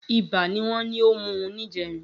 Ibà ni wọ́n ní ó mú un níjẹrin